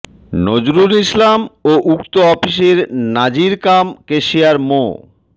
নজরুল ইসলাম ও উক্ত অফিসের নাজির কাম কেশিয়ার মো